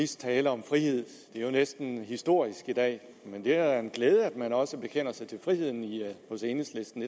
tale om frihed det er jo næsten historisk i dag men det er da en glæde at man også bekender sig til friheden hos enhedslisten